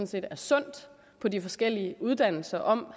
set er sundt på de forskellige uddannelser om